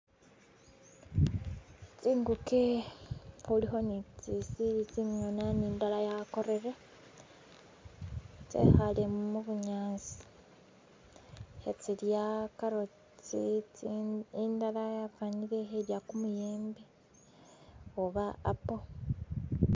Tsi'nguke khulikho netsili tsingana nindala ya'korere tsekhale mubunyasi khetsila carrots, indala yafanile i'khelya kumuyembe oba apple